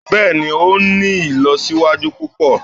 Bẹ́ẹ̀ni, o ń ni ilọsiwaju pupọ.